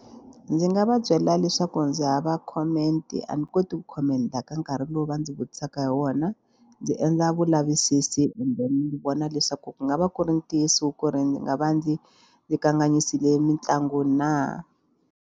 Ndzi nga va byela leswaku ndzi hava comment a ni koti ku comment-a ka nkarhi lowu va ndzi vutisaka hi wona ndzi endla vulavisisi kumbe ni vona leswaku ku nga va ku ri ntiyiso ku ri ndzi nga va ndzi yi kanganyisile mitlangu na.